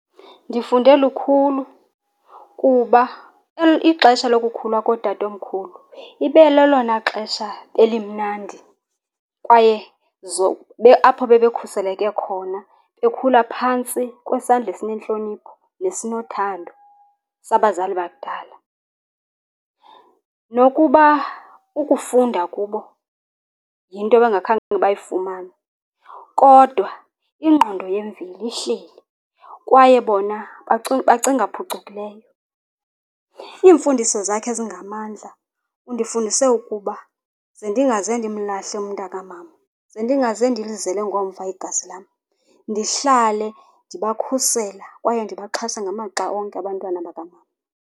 Ndifunde lukhulu kuba ixesha lokukhula kootatomkhulu ibe lelona xesha elimnandi kwaye apho bebekhuseleke khona bekhula phantsi kwesandla esinentlonipho nesinothando sabazali bakudala. Nokuba ukufunda kubo yinto abangakhange bayifumane, kodwa ingqondo yemvei ihleli kwaye bona bacinga phucukileyo. Iimfundiso zakhe ezingamandla undifundise ukuba ze ndingaze ndimlahle umntakamama, ze ndingaze ndilizele ngomva igazi lam. Ndihlale ndibakhusela kwaye ndibaxhasa ngamaxa onke abantwana bakamama.